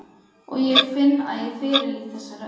Og ég finn að ég fyrirlít þessa rödd.